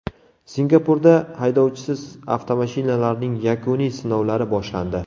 Singapurda haydovchisiz avtomashinalarning yakuniy sinovlari boshlandi.